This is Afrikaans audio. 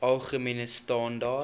algemene standaar